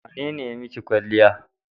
Wane ne ya yi maki kwalliya?